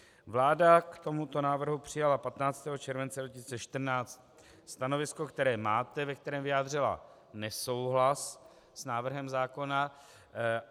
Vláda k tomuto návrhu přijala 15. července 2014 stanovisko, které máte, ve kterém vyjádřila nesouhlas s návrhem zákona.